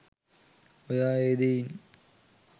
ඔයා ඒ දෙයින්